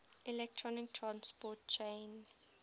electron transport chain